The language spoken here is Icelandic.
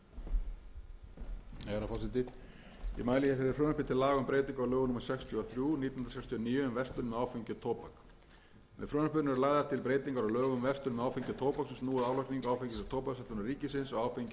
til laga um breyting á lögum númer sextíu og þrjú nítján hundruð sextíu og níu um verslun með áfengi og tóbak með frumvarpinu eru lagðar til breytingar á lögum um verslun með áfengi og tóbak sem snúa að álagningu áfengis og tóbaksverslunar ríkisins á áfengi